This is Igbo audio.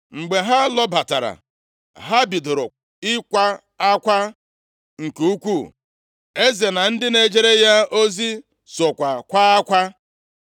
Mgbe ha lọbatara, ha bidoro ịkwa akwa nke ukwuu. Eze na ndị na-ejere ya ozi sokwa kwaa akwa.